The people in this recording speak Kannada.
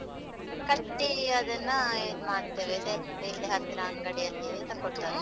ಕಟ್ಟಿ ಅದನ್ನ ಇದ್ ಮಾಡ್ತೇವೆ, sale ಮಾಡ್ತೆವೆ ಹತ್ರ ಅಂಗಡಿಯಲ್ಲಿ ತೆಕೊ.